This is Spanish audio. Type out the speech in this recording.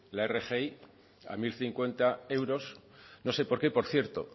la rgi a mil cincuenta euros no sé por qué por cierto